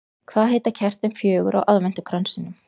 Hvað heita kertin fjögur á aðventukransinum?